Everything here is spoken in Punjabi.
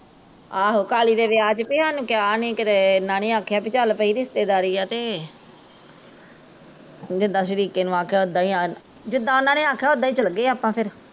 ਆਹੋ ਕਾਲੀ ਦੇ ਵਿਆਹ ਚ ਵੀ ਸਾਨੂ ਨੀ ਕਿਹਾ ਨੀ ਕਿਤੇ ਏਨਾਂ ਨੀ ਆਖਿਆ ਵੀ ਚੱਲ ਕਿਤੇ ਰਿਸਤੇਦਾਰੀ ਆ ਤੇ ਜਿੱਦਾ ਸ਼ਰੀਕੇ ਨੂ ਆਖਿਆ ਓਦਾ ਹੀਂ ਜਿੱਦਾ ਓਹਨਾਂ ਨੇ ਆਖਿਆ ਓਦਾ ਹੀਂ ਚੱਲ ਗਏ ਆਪਾਂ ਫੇਰ